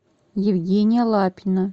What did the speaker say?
евгения лапина